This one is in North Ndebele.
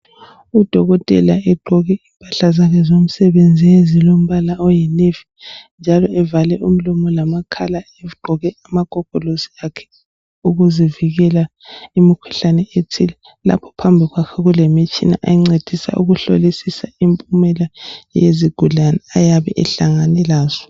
Udokotela egqoke impahla zakhe zomsebenzi ezilombala oyinavy njalo evale umlomo lamakhala egqoke amagogolosi akhe ukuzivikela imikhuhlane ethile. Lapho phambi kwakhe kulemitshina encedisa ukuhlolisisa impumela yezigulane ayabe ehlangane lazo.